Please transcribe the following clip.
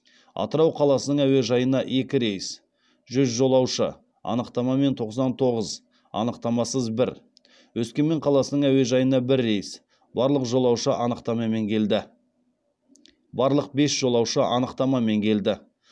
атырау қаласының әуежайына екі рейс жүз жолаушы анықтамамен тоқсан тоғыз анықтамасыз бір өскемен қаласының әуежайына бір рейс барлық бес жолаушы анықтамамен келді